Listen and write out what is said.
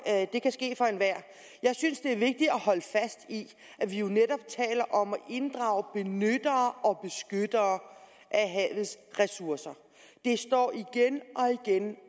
det kan ske for enhver jeg synes det er vigtigt at holde fast i at vi jo netop taler om at inddrage benyttere og beskyttere af havets ressourcer det står igen